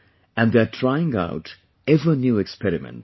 And they are trying out ever new experiments